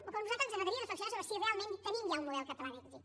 o a nosaltres ens agradaria reflexionar sobre si realment tenim ja un model català d’èxit